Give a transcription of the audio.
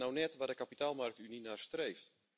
Dat is nou net waar de kapitaalmarktunie naar streeft.